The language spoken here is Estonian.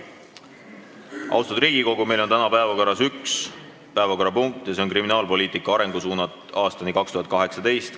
Austatud kolleegid, meil on täna päevakorras üks päevakorrapunkt ja see on ""Kriminaalpoliitika arengusuunad aastani 2018".